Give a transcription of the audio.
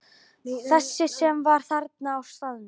Þessi sem var þarna á staðnum?